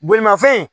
Bolimafɛn